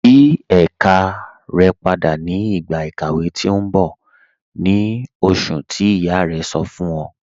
Yí èká rẹ̀ pádà ni igba ikàwé tì n bọ̀, ni oṣùn tí iyá rẹ̀ sọ̀ fún ọ̀.